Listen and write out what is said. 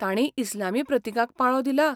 तांणीय इस्लामी प्रतिकांक पाळो दिला?